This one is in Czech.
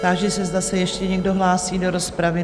Táži se, zda se ještě někdo hlásí do rozpravy?